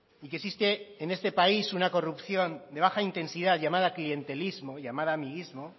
y que existe en este país una corrupción de baja intensidad llamada clientelismo llamada amiguismo